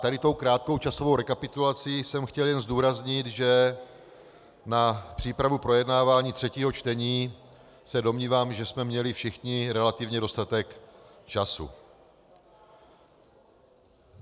Tady tou krátkou časovou rekapitulací jsem chtěl jen zdůraznit, že na přípravu projednávání třetího čtení se domnívám, že jsme měli všichni relativně dostatek času.